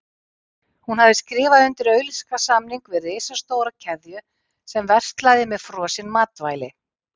Hún hafði skrifað undir auglýsingasamning við risastóra keðju sem verslaði með frosin matvæli.